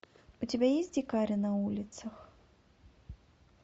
у тебя есть дикари на улицах